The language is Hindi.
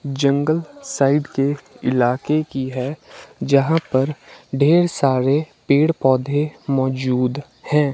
जंगल साइड के इलाके की है यहां पर ढेर सारे पेड़ पौधे मौजूद हैं।